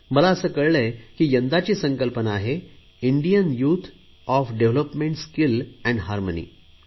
मला असे कळतेय की यंदाची संकल्पना आहे Indian youth of development skill and harmony